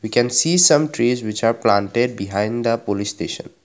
we can see some trees which are planted behind the police station.